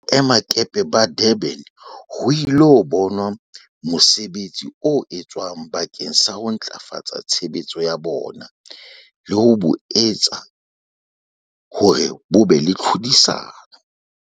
Boemakepe ba Durban ho ilo bona mosebetsi o etswang bakeng sa ho ntlafatsa tshebetso ya bona le ho bo etsa hore bo be le tlhodisano.